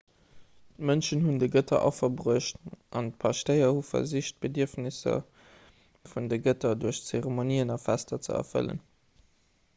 d'mënschen hunn de gëtter affer bruecht an d'paschtéier hu versicht d'bedierfnesser vun de gëtter duerch zeremonien an fester ze erfëllen